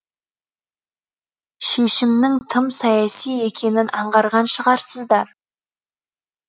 шешімнің тым саяси екенін аңғарған шығарсыздар